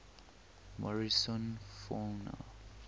morrison fauna